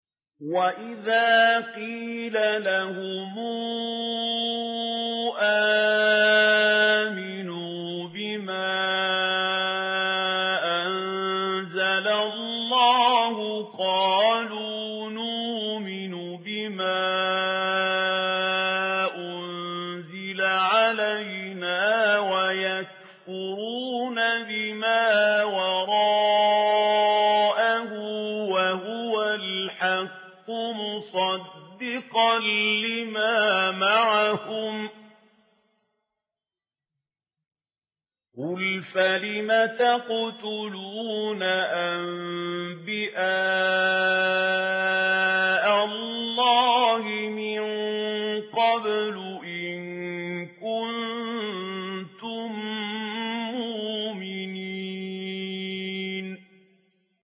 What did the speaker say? وَإِذَا قِيلَ لَهُمْ آمِنُوا بِمَا أَنزَلَ اللَّهُ قَالُوا نُؤْمِنُ بِمَا أُنزِلَ عَلَيْنَا وَيَكْفُرُونَ بِمَا وَرَاءَهُ وَهُوَ الْحَقُّ مُصَدِّقًا لِّمَا مَعَهُمْ ۗ قُلْ فَلِمَ تَقْتُلُونَ أَنبِيَاءَ اللَّهِ مِن قَبْلُ إِن كُنتُم مُّؤْمِنِينَ